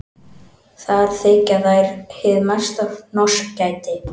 Þar þykja þær hið mesta hnossgæti.